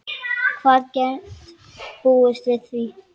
Hver gat búist við því?